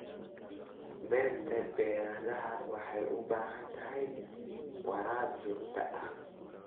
Beerta baradhada waxay u baahan tahay waraab joogto ah.